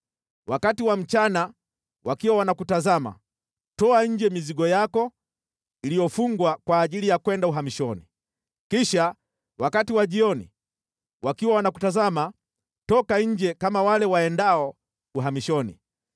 Wakati wa mchana, wakiwa wanakutazama, toa nje mizigo yako iliyofungwa kwa ajili ya kwenda uhamishoni. Kisha wakati wa jioni, wakiwa wanakutazama toka nje kama wale waendao uhamishoni.